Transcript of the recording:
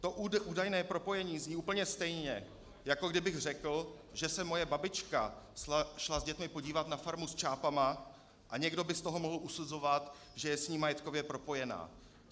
To údajné propojení zní úplně stejně, jako kdybych řekl, že se moje babička šla s dětmi podívat na farmu s čápy a někdo by z toho mohl usuzovat, že je s ní majetkově propojená.